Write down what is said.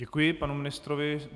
Děkuji panu ministrovi.